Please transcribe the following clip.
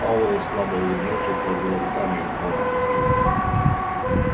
пауэлл слабо улыбнувшись развёл руками и упал на постель